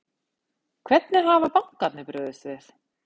Hvernig hafa bankarnir brugðist við?